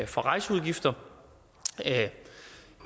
for rejseudgifter